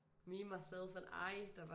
Me myself and I der bare